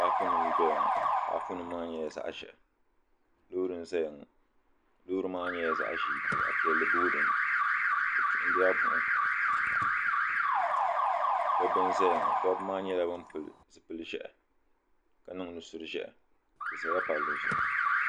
paapunima n dɔya ŋɔ paapunima maa nyɛla zaɣ ʒɛhi loori n zaya ŋɔ loori maa nyɛla zaɣ ʒɛɛ ka zaɣ piɛlli booi dini bɛ kpihindila buɣim dɔbba n zaya ŋɔ dɔbba maa nyɛla ban pili zupil ʒɛhi ka niŋ nusuri ʒɛhi bɛ zala palli zuɣu.